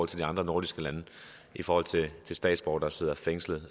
til de andre nordiske lande i forhold til statsborgere der sidder fængslet